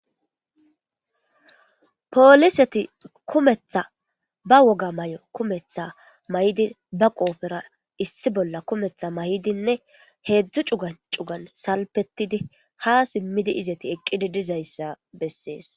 Pooliseti kumetha ba woga may7o kumetha may7idi ba qoophera issi bolla kumetha may7idinne heedzdzu cuga cugan salpetidi ha simmidi izati eqqidi dizayssa bessees.